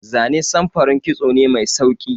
Zane samfurin kitso ne mai sauki.